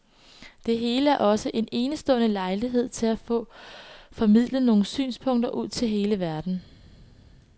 Det hele er også en enestående lejlighed til at få formidlet nogle synspunkter ud til verden.